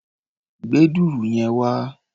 Gbé dùrù yẹn wá!